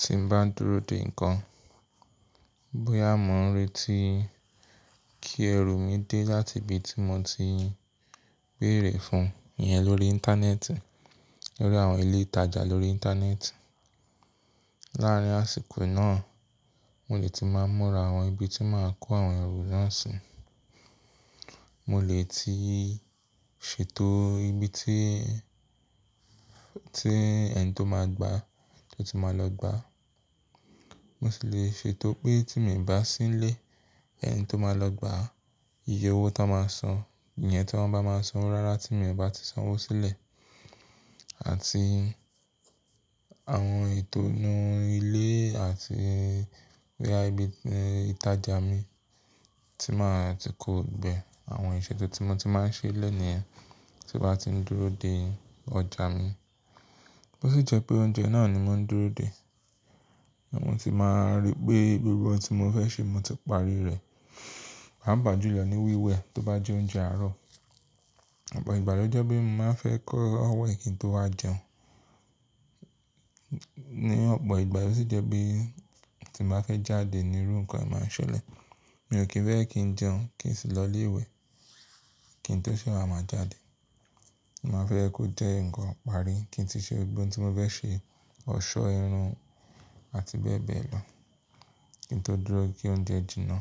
Tí n bá dúró de nǹkan, bóyá mò ń retí kí ẹrù mi dé láti ibi tí mo ti béère fún iyẹn lórí Íńtánẹ́ẹ̀tì, lórí àwọn ilé ìtajà lórí Íńtánẹ́ẹ̀tì. Láàárín àsìkò náà, mo lè tí máa múra àwọn ibi tí máa kó àwọn ẹrù náà sí. Mo lè tíí ṣetó ibi tí, tí ẹni tí ó máa gbà á tí ó ti máa lọ gbà á. Mo sì le ṣe tó pé tí mo ì bá sílè ẹni tí ó máa lọ gbà á, iye owó tó máa san, ìyẹn tí wọ́n bá máa san owó rárá tí mo ì bá ti san owó sílẹ̀ àti àwọn eto inu ilé àti boya ibi ìtajà mi tí máa ti kó gbogbo re àwọn ìṣètò tí mo ti máa ń ṣe lẹ́ẹ̀ ni yẹn tí mo bá tí ń dúró de ọjà mi. Bó sì jẹ́ pé oúnjẹ náà ni mò ń dúró de, mo sì máa rí pé gbogbo ohun tí mo fẹ́ ṣe mo ti parí rẹ̀. Papa julo lo ní wíwẹ̀ tó bá jẹ́ oúnjẹ àárọ̀. Ọ̀pọ̀ ìgbà ló jẹ́ pé mo máa ń fẹ́ kóko we kí n tó wá jẹun. Ní ọ̀pọ̀ ìgbà yóò sì jẹ́ pé tí n bá fẹ́ jáde nírú ǹkan naa máa ń ṣẹlẹ̀. Mi ò kí ń fẹ́ kí ń jẹun kí n sì lọ ilé ìwẹ̀ kí n tó sèwà máa jáde. Mo máa n fẹ́ kó jẹ́ ǹkan iparí kí n ti ṣe ohun tí mo fẹ́ ṣe, ọ̀ṣọ́ irun àti bẹ́ẹ̀ bẹ́ẹ̀ lọ kí n tó dúró ki oúnjẹ jìnnà.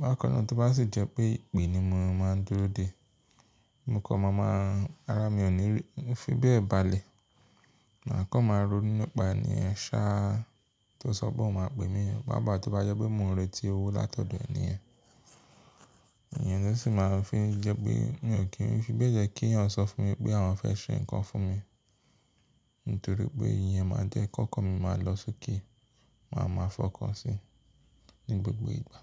Bákan náà tó bá sì jẹ́ pé ìpè ni mò ń máa ń dúró de, mo kọ́ mo máa, àrá mi ò ní rí, mo fi bẹ́ẹ̀ balẹ̀. Màá kọ́ máa ronú nípa ènì yen ṣáa tí ó ṣọ pé òun máa pè mí papa tó bá jẹ́ pé mò ń retí owó látọ̀dọ̀ ènì yen. Iyẹn ló sì máa ń fi jẹ́ pé mi ò kí ń fi bẹ́ẹ̀ jẹ́ kí èeyàn sọ fún mi pé àwọn fẹ́ ṣe ǹkan fún mi nítorí pé ìyẹn máa jẹ́ kọ́kọ́ mo máa lọ sókè, màá máa fọkàn sí ní gbogbo ìgbà.